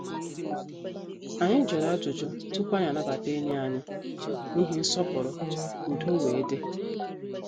Anyị jụrụ ajụjụ tupu anyị anabata enyi anyị n' ihi nsọpụrụ ka udo wee dị.